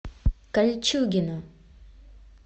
кольчугино